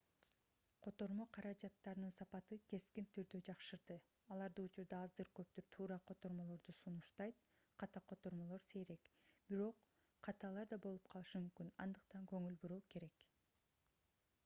котормо каражаттарынын сапаты кескин түрдө жакшырды алар учурда аздыр-көптүр туура котормолорду сунуштайт ката котормолор сейрек бирок каталар да болуп калышы мүмкүн андыктан көңүл буруу керек